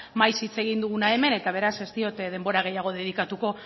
maiz hitz egin duguna hemen eta beraz ez diot denbora gehiago dedikatuko